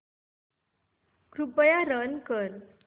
कृपया रन कर